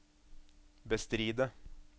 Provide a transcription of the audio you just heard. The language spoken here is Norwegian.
bestride